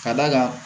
Ka d'a kan